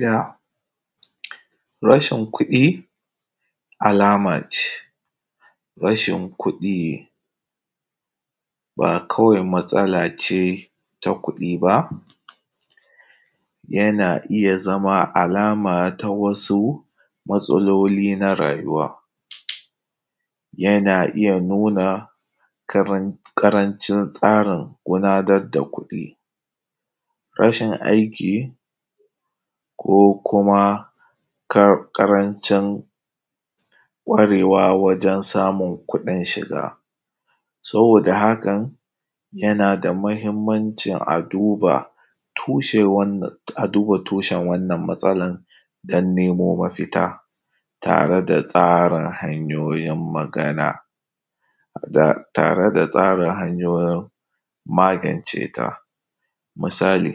Ga rashin kuɗi alama ce, rashin kuɗi ba kawai matsala ce ta kuɗi ba, yana iya zama alama na wasu matsaloli na rayuwa, yana iya nuna ƙarancin tsarin gudanar da kuɗi, rashin aiki ko ƙaranci ƙwarewa wajen samun kuɗin shiga. Saboda hakan yana da mahimmancin a duba tushen wannan, a duba tushen wannan matsalan don neman mafita tare da tsarin hanyoyin magana, tare da tsarin hanyoyin magance ta, misali,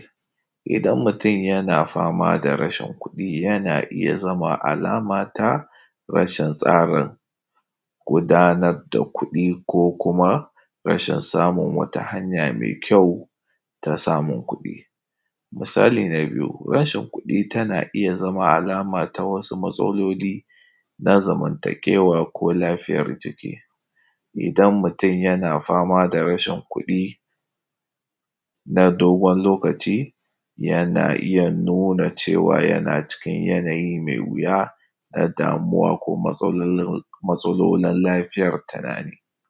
idan mutum yana fama da rashin kuɗi yana iya zama alama ta rashin tsarin gudanar da kuɗi ko kuma rashin samo wata hanya mai kyau ta samun kuɗi. Misali na biyu; rashin kuɗi tana iya zama alama ta wasu matsaloli na zamantakewa ko lafiyan jiki. Idan mutum yana fama da rashin kuɗi na dogon lokaci yana iya nuna cewa yana cikin yanayi mai wuya na damuwa ko matsolul, matsalolin lafiyar tunani.